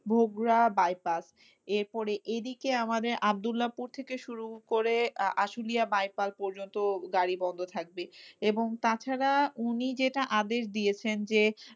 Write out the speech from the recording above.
Bhogra bypass এরপরে এদিকে আমাদের আবদুল্লাপুর থেকে শুরু করে আ~ আসিলিয়া bypass পর্যন্ত গাড়ি বন্ধ থাকবে। এবং তাছাড়া উনি যেটা আদেশ দিয়েছেন যে,